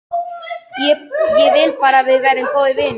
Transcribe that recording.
Ég vil bara að við verðum góðir vinir.